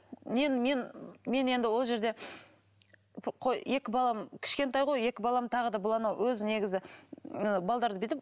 мен мен мен енді ол жерде қой екі балам кішкентай ғой екі балам тағы да бұл анау өзі негізі